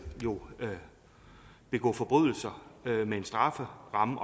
jo begå forbrydelser med en strafferamme